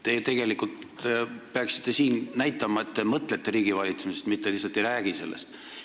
Te tegelikult peaksite siin näitama, et te mõtlete riigivalitsemisest, mitte lihtsalt ei räägi sellest.